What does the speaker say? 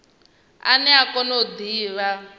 ane a kona u divha